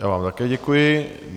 Já vám také děkuji.